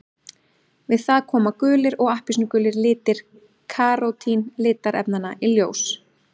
Við það koma gulir og appelsínugulir litir karótín litarefnanna í ljós.